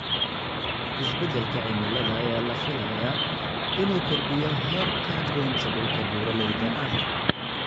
Isbeddelka cimilada ayaa la filayaa inuu kordhiyo heerka goynta dhulka buuraleyda ah.